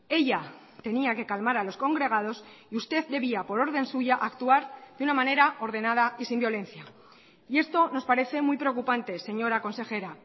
ella tenía que calmar a los congregados y usted debía por orden suya actuar de una manera ordenada y sin violencia y esto nos parece muy preocupante señora consejera